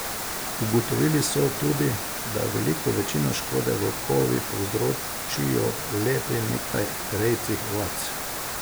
Ugotovili so tudi, da veliko večino škode volkovi povzročijo le pri nekaj rejcih ovac.